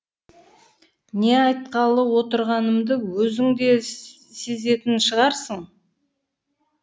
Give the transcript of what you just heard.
не айтқалы отырғанымды өзің де сезетін шығарсың